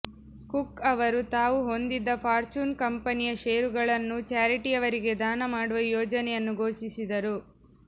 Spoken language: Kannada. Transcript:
ಕುಕ್ ಅವರು ತಾವು ಹೊಂದಿದ್ದ ಫ಼ಾರ್ಚ್ಯೂನ್ ಕಂಪನಿಯ ಷೇರುಗಳನ್ನು ಚಾರಿಟಿಯವರಿಗೆ ಧಾನ ಮಾಡುವ ಯೋಜನೆಯನ್ನು ಘೋಷಿಸಿದರು